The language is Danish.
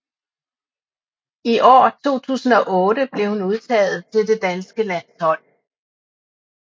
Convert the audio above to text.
I år 2008 blev hun udtaget til det danske landshold